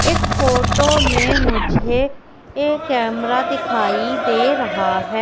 इस फोटो में मुझे ये कैमरा दिखाई दे रहा है।